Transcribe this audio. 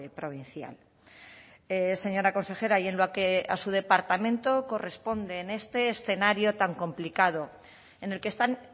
provincial señora consejera y en lo que a su departamento corresponde en este escenario tan complicado en el que están